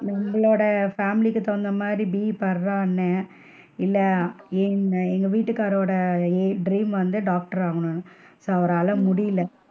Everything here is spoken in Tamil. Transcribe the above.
நம்மளோட family க்கு தகுந்த மாதிரி BE படிடான்னுன்னே இல்ல எங்க வீட்டுக்காரரோட dream வந்து doctor ஆகணும்ன்னு so அவரால முடில,